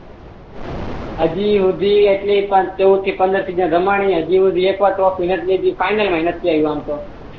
હજી હુધી એટલી ચઉદ થી પંદર સીઝન રમાણી હજી હુધી ટોપ ફાઈનલ મા નથી આવી